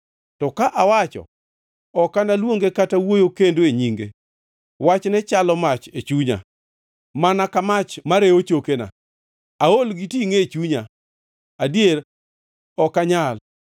To ka awacho. “Ok analuonge kata wuoyo kendo e nyinge,” wachne chalo mach e chunya, mana ka mach marewo chokega. Aol gi tingʼe e chunya; adier, ok anyal.